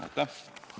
Aitäh!